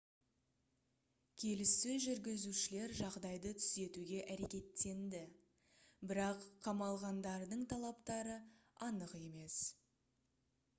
келіссөз жүргізушілер жағдайды түзетуге әрекеттенді бірақ қамалғандардың талаптары анық емес